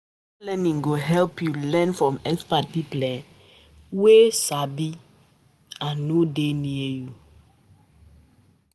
Distance learning go help you learn from expert pipo um wey um no dey near you.